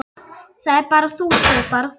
Það ert bara þú, Sif. bara þú.